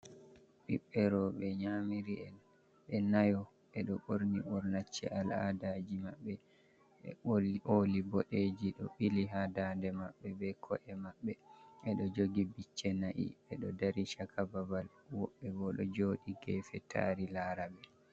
Ɓiɓɓe rowɓe nyamiri'en ɓe nayo, ɓe ɗo ɓorni ɓornacce al-aadaaji maɓɓe, be ooli boɗeeji ɗo ɓili, haa daande maɓɓe be ko’e maɓɓe, ɓe ɗo jogi bicce na'i, ɓe do dari caka babal, woɓɓe bo ɗo jooɗi geefe, taari laaraɓe.